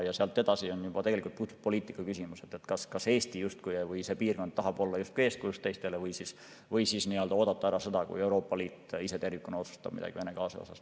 Ja sealt edasi on juba tegelikult puhtalt poliitika küsimus, kas Eesti või kogu meie piirkond tahab olla eeskujuks teistele või siis ootame ära, kuni Euroopa Liit tervikuna otsustab midagi Vene gaasi osas.